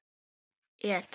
En glöggt er gests augað.